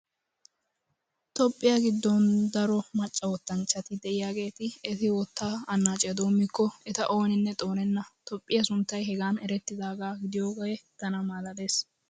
Toophphiya giddon daro macca wottanchchati diyaageeti eti wottaa annaaciya doommiko eta ooninne xoonenna. Toophphiya sunttay hegan erettidaagaa gidiyoogee tana malaalees!